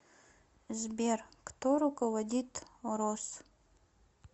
сбер кто руководит рос